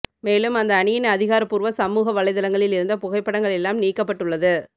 மேலும் அந்த அணியின் அதிகாரபூர்வ சமூக வலைத்தளங்களில் இருந்த புகைப்படங்கள் எல்லாம் நீக்கப்பட்டு ள்ளது